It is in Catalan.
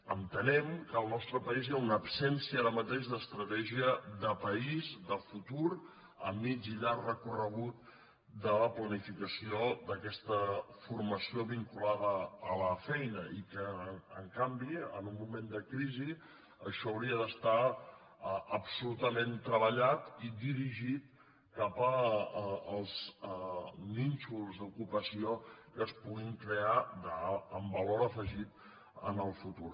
entenem que al nostre país hi ha una absència ara mateix d’estratègia de país de futur a mitjà i llarg recorregut de la planificació d’aquesta formació vinculada a la feina i que en canvi en un moment de crisi això hauria d’estar absolutament treballat i dirigit cap als nínxols d’ocupació que es puguin crear amb valor afegit en el futur